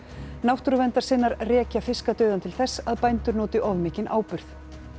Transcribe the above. náttúrverndarsinnar rekja fiskadauðann til þess að bændur noti of mikinn áburð